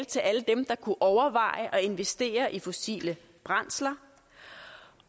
til alle dem der kunne overveje at investere i fossile brændsler